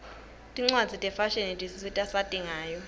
tincwadzi tefashini tisisita sati ngayo